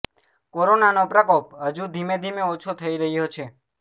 કોરોનાનો પ્રકોપ હજુ ધીમે ધીમે ઓછો થઇ રહ્યો છે